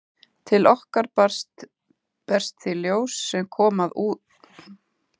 Til okkar berst því ljós sem kom að úðanum úr mörgum áttum.